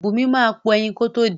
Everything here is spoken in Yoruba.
Bùnmi máa po ẹyin kótó din.